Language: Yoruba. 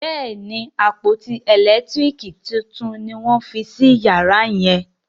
Béèni àpótí elekitiriki títún ní wón fí sí yàrá yen.